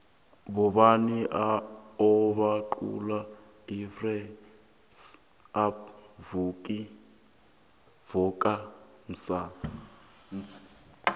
bobani obaqula irise up vuka mnzansi